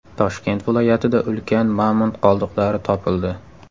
Toshkent viloyatida ulkan mamont qoldiqlari topildi.